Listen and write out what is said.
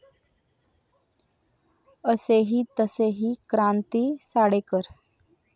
असेही तसेही क्रांती साडेकर